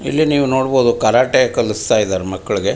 ಇಲ್ಲಿ ನೀವು ನೋಡಬಹುದು ಕರಾಟೆ ಕಲಿಸ್ತಾ ಇದ್ದಾರೆ ಮಕ್ಕಳಿಗೆ.